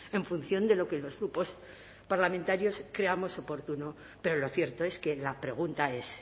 en función de lo que los grupos parlamentarios creamos oportuno pero lo cierto es que la pregunta es